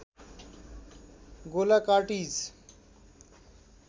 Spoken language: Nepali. गोला कार्टिज